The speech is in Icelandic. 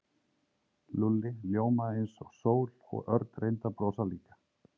Lúlli ljómaði eins og sól og Örn reyndi að brosa líka.